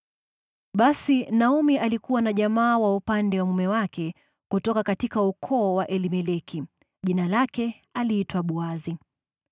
Basi Naomi alikuwa na jamaa wa upande wa mume wake, kutoka ukoo wa Elimeleki, mtu maarufu ambaye aliitwa Boazi.